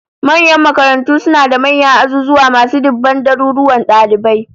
Manyan makarantu suna da manyan azuzuwa masu diban daruruwan dalibai